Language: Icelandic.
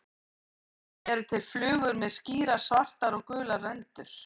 Einnig eru til flugur með skýrar svartar og gular rendur.